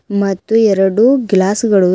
ಮತ್ತು ಎರಡು ಗ್ಲಾಸ್ ಗಳು ಇ--